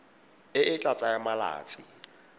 e e tla tsaya malatsi